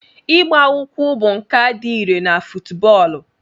Ịgba ụkwụ bụ nkà dị irè na fútúbọọlu